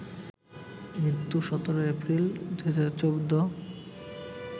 মৃত্যু১৭ April, ২০১৪